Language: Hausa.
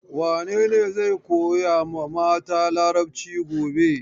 Wane ne zai koya mata Larabci gobe?